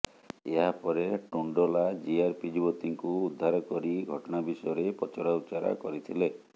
ଏହାପରେ ଟୁଣ୍ଡଲା ଜିଆରପି ଯୁବତୀଙ୍କୁ ଉଦ୍ଧାର କରି ଘଟଣା ବିଷୟରେ ପଚରାଉଚରା କରିଥିଲେ